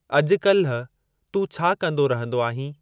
अज॒कल्ह तूं छा कंदो रहंदो आहीं?